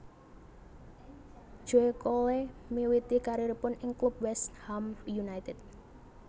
Joe Cole miwiti karieripun ing klub West Ham United